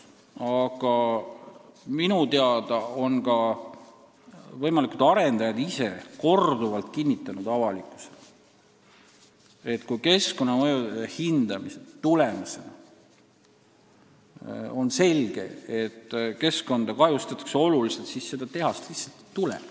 Aga minu teada on ka võimalikud arendajad ise korduvalt avalikkusele kinnitanud, et kui keskkonnamõjude hindamise tulemusena on selge, et keskkonda kahjustatakse oluliselt, siis seda tehast lihtsalt ei tule.